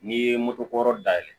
N'i ye moto kura dayɛlɛ